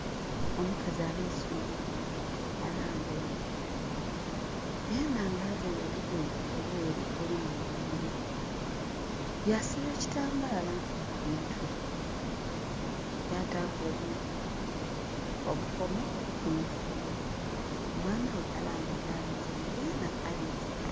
Omukazi abeese omwana, alambaile. Yenha nga availe olugoye olweeru olulimu obumuli. Yasiba ekitambaala ku mutwe. Yataaku obukomo kumukono. Omwana ghe alambaile alinze enho yenha alinze